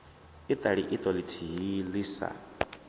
iṱali iṱo ḽithihi ḽi sa